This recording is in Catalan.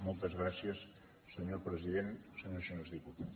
moltes gràcies senyor president senyors i senyores diputats